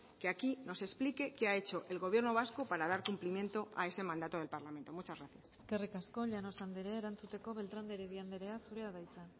que aquí nos explique que ha hecho el gobierno vasco para dar cumplimiento a ese mandato del parlamento muchas gracias eskerrik asko llanos anderea erantzuteko beltrán de heredia anderea zurea da hitza